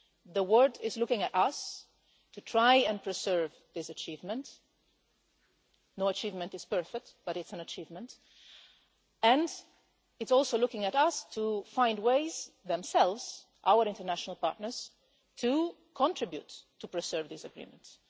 The world is looking at us to try and preserve this achievement no achievement is perfect, but it's an achievement and it's also looking at us to find ways themselves our international partners to contribute to preserving these agreements.